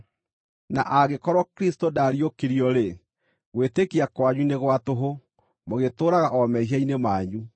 Na angĩkorwo Kristũ ndaariũkirio-rĩ, gwĩtĩkia kwanyu nĩ gwa tũhũ; mũgĩtũũraga o mehia-inĩ manyu.